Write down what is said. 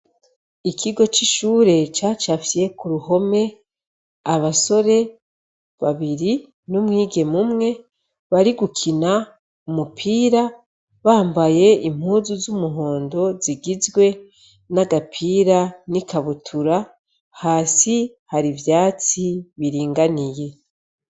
Ikigo c'ishure cacafye k'uruhome abasore babiri, n'umwigeme umwe bari gukina umupira bambaye impuzu z'umuhondo zigizwe :n'agapira, n'ikabutura, hasi har'ivyatsi biringaniye.